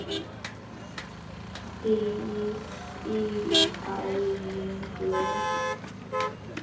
frýs í æðum blóð